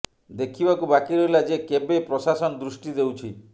ଦେଖିବାକୁ ବାକି ରହିଲା ଯେ କେବେ ପ୍ରଶାସନ ଦୃଷ୍ଟି ଦେଉଛି